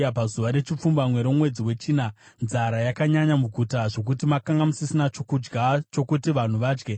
Pazuva rechipfumbamwe romwedzi wechina nzara yakanyanya muguta zvokuti makanga musisina chokudya chokuti vanhu vadye.